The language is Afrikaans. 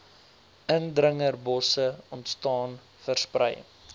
indringerbosse ontstaan versprei